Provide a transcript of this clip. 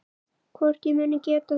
Hvort ég muni geta þetta.